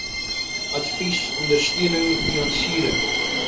advies ondersteuning finansiering